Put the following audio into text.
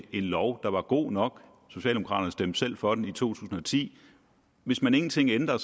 en lov der var god nok socialdemokraterne stemte selv for den i to tusind og ti hvis man ingenting ændrer